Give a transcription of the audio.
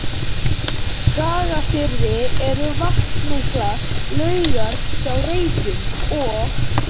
Skagafirði eru vatnsmiklar laugar hjá Reykjum og